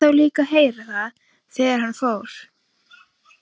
Hann lét þá líka heyra það þegar hann fór.